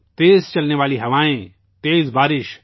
تیز چلنے والی ہوائیں، تیز بارش